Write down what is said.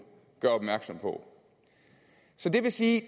peger på det vil sige at